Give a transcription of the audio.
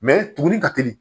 tugunnin ka teli